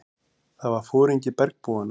Það var foringi bergbúanna.